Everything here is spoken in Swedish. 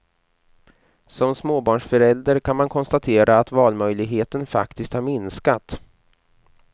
Som småbarnsförälder kan man konstatera att valmöjligheten faktiskt har minskat.